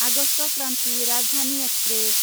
August Kranti Rajdhani express